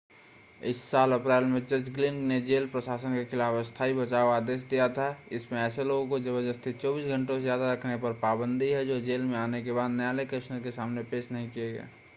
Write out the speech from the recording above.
इस साल अप्रैल में जज ग्लिन ने जेल प्रशासन के खिलाफ अस्थाई बचाव आदेश दिया था इसमें ऐसे लोगों को ज़बरदस्ती 24 घंटों से ज़्यादा रखने पर पाबंदी है जो जेल में आने के बाद न्यायलय कमिश्नर के सामने पेश नहीं किए गए